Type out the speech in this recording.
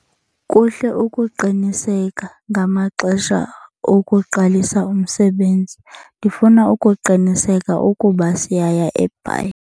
Kuhle ukuqiniseka ngamaxesha okuqalisa umsebenzi. Ndifuna ukuqiniseka ukuba siyaya eBhayi.